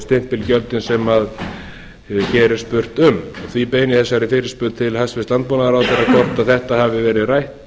stimpilgjöldin sem hér er spurt um því beini ég þessari fyrirspurn til hæstvirts landbúnaðarráðherra hvort þetta hafi verið rætt